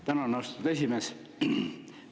Tänan, austatud esimees!